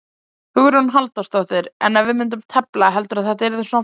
Hugrún Halldórsdóttir: En ef við myndum tefla, heldurðu að þetta yrði svona fallegt?